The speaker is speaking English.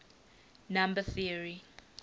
number theory